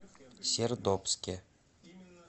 сердобске